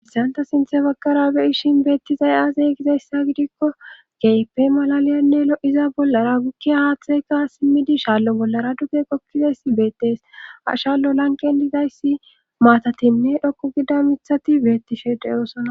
issanta sinthe baggara beyishin beettizay aazey gizayssa gidikko keepe malaliyanne lo7iza bollara gukkiya haaththayka simmidi shaallo bollara duge qokkizayssi beettes a shaallo lanqen dizayssi maatatinne dhoqu gida mithati beetti shedeyosona